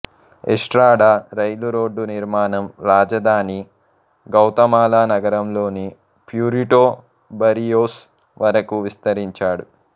Estrada రైలురోడ్డు నిర్మాణం రాజధాని గౌతమాలా నగరంలోని ప్యూరిటో బర్రియోస్ వరకు విస్తరించాడు